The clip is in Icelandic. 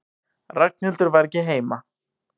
Ragnhildur var ekki heima.